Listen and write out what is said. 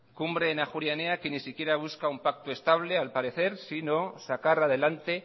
que ni siquiera busca un pacto estable al parecer sino sacar adelante